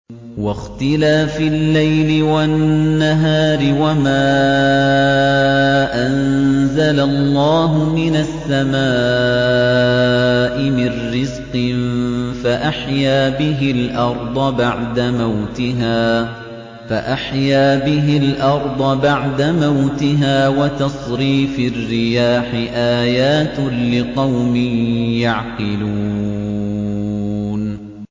وَاخْتِلَافِ اللَّيْلِ وَالنَّهَارِ وَمَا أَنزَلَ اللَّهُ مِنَ السَّمَاءِ مِن رِّزْقٍ فَأَحْيَا بِهِ الْأَرْضَ بَعْدَ مَوْتِهَا وَتَصْرِيفِ الرِّيَاحِ آيَاتٌ لِّقَوْمٍ يَعْقِلُونَ